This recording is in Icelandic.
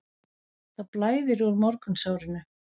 Það blæðir úr morgunsárinu